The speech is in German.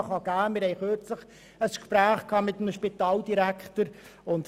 Wir haben kürzlich ein Gespräch mit einem Spitaldirektor geführt.